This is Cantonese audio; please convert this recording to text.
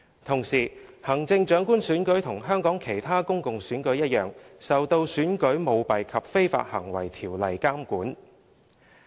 同時，行政長官選舉與香港其他公共選舉一樣，受《選舉條例》監管。